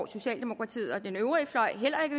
socialdemokratiet og den øvrige fløj heller